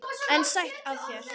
En sætt af þér!